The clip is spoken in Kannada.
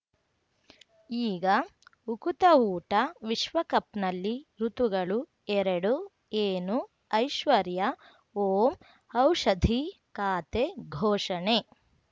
ಈಗ ಉಕುತ ಊಟ ವಿಶ್ವಕಪ್‌ನಲ್ಲಿ ಋತುಗಳು ಎರಡು ಏನು ಐಶ್ವರ್ಯಾ ಓಂ ಔಷಧಿ ಖಾತೆ ಘೋಷಣೆ